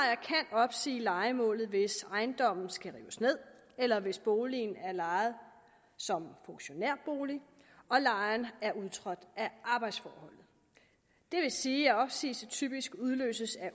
opsige lejemålet hvis ejendommen skal rives ned eller hvis boligen er lejet som funktionærbolig og lejeren er udtrådt af arbejdsforhold det vil sige at opsigelse typisk udløses